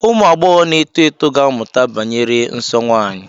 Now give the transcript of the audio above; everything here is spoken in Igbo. Ụmụ agbọghọ na-eto eto ga-amụta banyere nsọ nwanyị.